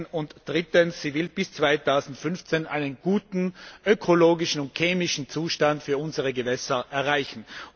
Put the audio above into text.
Und drittens Sie will bis 2015 einen guten ökologischen und chemischen Zustand für unsere Gewässer erreichen.